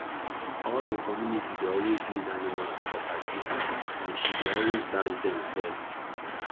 all the community dey always need animals for party and she dey always dash them first